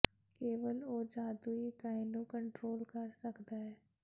ਕੇਵਲ ਉਹ ਜਾਦੂਈ ਇਕਾਈ ਨੂੰ ਕੰਟਰੋਲ ਕਰ ਸਕਦਾ ਹੈ